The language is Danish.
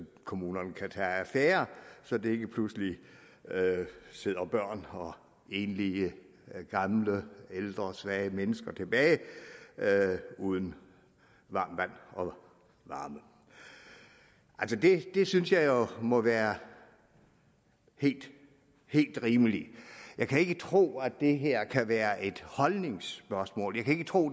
kommunerne kan tage affære så der ikke pludselig sidder børn og enlige ældre svage mennesker tilbage uden varmt vand og varme det synes jeg jo må være helt helt rimeligt jeg kan ikke tro at det her kan være et holdningsspørgsmål jeg kan ikke tro